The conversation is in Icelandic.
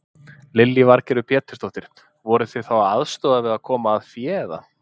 Lillý Valgerður Pétursdóttir: Voruð þið þá að aðstoða við að komast að fé eða?